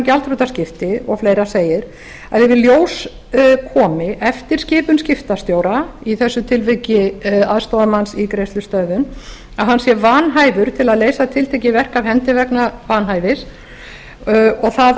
gjaldþrotaskipti o fl segir að ef í ljós komi eftir skipun skiptastjóra í þessu tilviki aðstoðarmanns í greiðslustöðvun að hann sé vanhæfur til að leysa tiltekið verk af hendi vegna vanhæfis og það